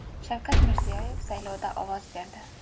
Shavkat Mirziyoyev saylovda ovoz berdi.